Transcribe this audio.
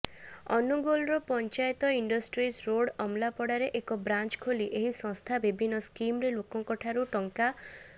ଅନୁଗୋଳର panchayat industries road ଅମଲାପଡ଼ାରେ ଏକ branch ଖୋଲି ଏହି ସଂସ୍ଥା ବିଭିନ୍ନ ସ୍କିମରେ ଲୋକଙ୍କଠାରୁ ଟଙ୍କ